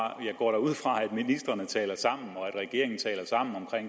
jeg går da ud fra at ministrene taler sammen og at regeringen taler sammen om